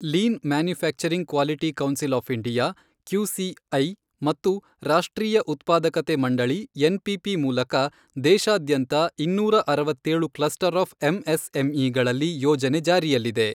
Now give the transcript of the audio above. Lean manufacturing quality council of India QCI ಮತ್ತು ರಾಷ್ಟ್ರೀಯ ಉತ್ಪಾದಕತೆ ಮಂಡಳಿ ಎನ್ಪಿಸಿ ಮೂಲಕ ದೇಶಾದ್ಯಂತ ಇನ್ನೂರ ಅರವತ್ತೇಳು ಕ್ಲಸ್ಟರ್ ಆಫ್ ಎಂಎಸ್ಎಂಇಗಳಲ್ಲಿ ಯೋಜನೆ ಜಾರಿಯಲ್ಲಿದೆ.